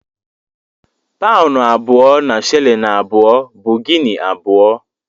Paụnụ abụọ na shịlịn abụọ bụ Gini abụọ.